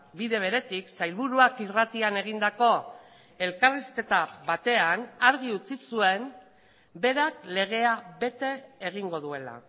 bide beretik sailburuak irratian egindako elkarrizketa batean argi utzi zuen berak legea bete egingo duela